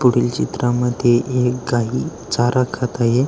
पुढील चित्रामध्ये एक गाई चारा खात आहे.